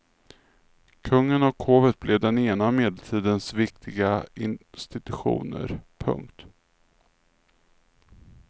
Kungen och hovet blev den ena av medeltidens viktiga institutioner. punkt